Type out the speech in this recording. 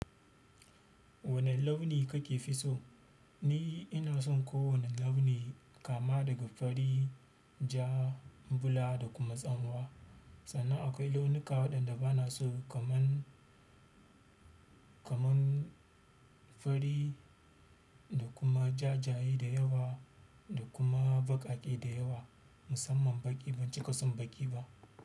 Wane launi kake fi so? Ni ina son kowane launi kama daga fari, ja, bula da kuma tsanwa. Sannan akwai launuka waɗanda bana so kaman, kaman fari da kuma jajaye da yawa da kuma baƙaƙe da yawa. Musamman baƙi ban cika son baƙi ba.